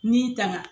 N'i tanga